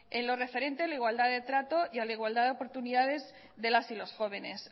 en lo referente a la igualdad de trato y a la igualdad de oportunidades de las y los jóvenes